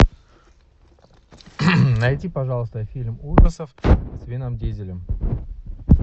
найди пожалуйста фильм ужасов с вином дизелем